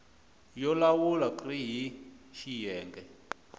yo lawula rk hl xiyenge